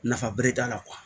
Nafa bere t'a la kuwa